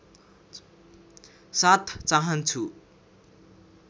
साथ चाहन्छु